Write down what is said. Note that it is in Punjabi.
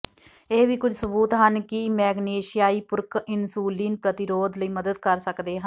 ਇਹ ਵੀ ਕੁਝ ਸਬੂਤ ਹਨ ਕਿ ਮੈਗਨੇਸ਼ਿਆਈ ਪੂਰਕ ਇਨਸੁਲਿਨ ਪ੍ਰਤੀਰੋਧ ਲਈ ਮਦਦ ਕਰ ਸਕਦੇ ਹਨ